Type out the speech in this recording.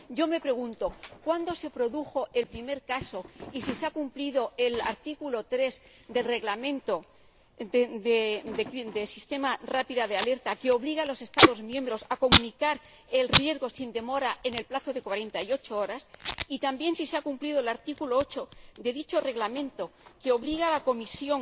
Yo me pregunto cuándo se produjo el primer caso y si se ha cumplido el artículo 3 del Reglamento sobre el Sistema de Alerta Rápida, que obliga a los Estados miembros a comunicar el riesgo sin demora en el plazo de 48 horas, y también si se ha cumplido el artículo 8 de dicho Reglamento, que obliga a la Comisión